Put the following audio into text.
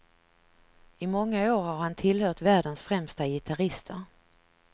I många år har han tillhört världens främsta gitarrister.